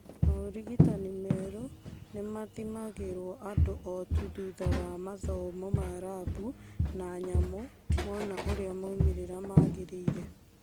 Maũrigitani merũ nĩmathimagĩrwo andũ o tu thutha wa mathomo ma rambu na nyamũ mona ũrĩa maumĩrĩra magĩrĩire